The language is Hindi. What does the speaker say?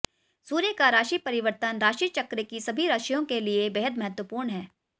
सूर्य का राशि परिवर्तन राशिचक्र की सभी रशियों के लिए बेहद महत्वपूर्ण है